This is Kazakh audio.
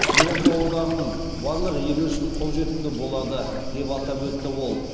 еуропа одағының барлық елі үшін қолжетімді болады деп атап өтті ол